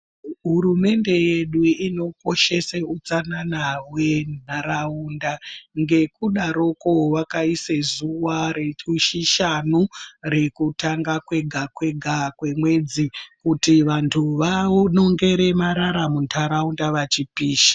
Hurumende yedu inokoshese hutsanana hwenharaunda ngekudaroko vakaisa zuva rechishanu rekutanga kwega kwega kwemwedzi kuti vanthu vanongere marara muntharaunda vachipisha.